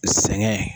Sɛŋɛn